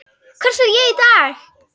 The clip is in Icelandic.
Hvert fer ég í dag?